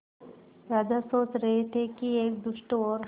राजा सोच रहे थे कि एक दुष्ट और